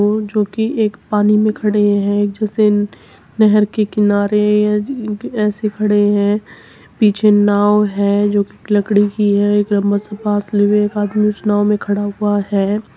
और जोकि एक पानी में खड़े हैं जिसे नहर के किनारे ऐसे खड़े हैं। पीछे नाव है जोकि लकड़ी की है। एक लम्बा सा बांस लिए एक आदमी उस नांव में खड़ा हुआ है।